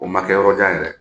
O ma kɛ yɔrɔ jan yɛrɛ